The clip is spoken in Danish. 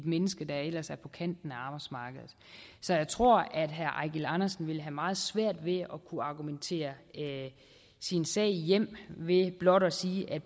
menneske der ellers er på kanten af arbejdsmarkedet så jeg tror at herre eigil andersen vil have meget svært ved at kunne argumentere sin sag hjem ved blot at sige at